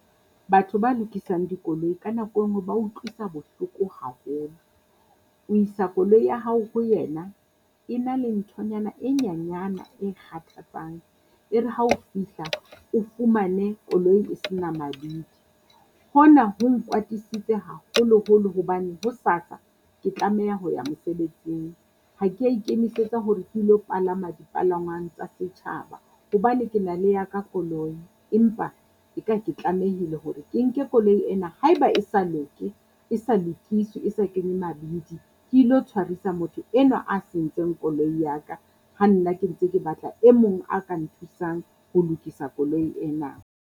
Batho ba lokisang dikoloi ka nako e nngwe ba utlwisa bohloko haholo. O isa koloi ya hao ho ena e na le nthonyana e nyanyana e kgathatsang. E re ha o fihla, o fumane koloi e sena mabidi, hona ho nkwatisitse haholoholo hobane hosasa ke tlameha ho ya mosebetsing. Ha kea ikemisetsa hore ke ilo palama dipalangwang tsa setjhaba hobane ke na le ya ka koloi, empa e ka ke tlamehile hore ke nke koloi ena haeba e sa loke e sa lokiswe e sa kenywe mabidi. Ke ilo tshwarisa motho enwa a sentseng koloi ya ka, ha nna ke ntse ke batla e mong a ka nthusang ho lokisa koloi ena.